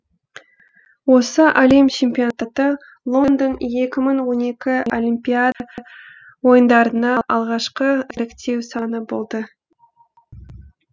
осы әлем чемпионаты лондон екі мың он екі олимпиада ойындарына алғашқы іріктеу сыны болды